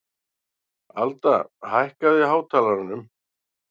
Alda, hækkaðu í hátalaranum.